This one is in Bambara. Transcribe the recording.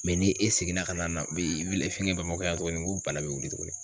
ni e seginna ka na na fɛngɛ Bamakɔ yan tugunni nko bana be wuli tugunni.